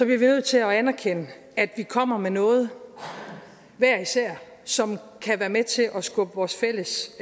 vi nødt til at anerkende at vi kommer med noget hver især som kan være med til at skubbe vores fælles